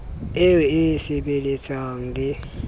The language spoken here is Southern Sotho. eo e e sebelletsang le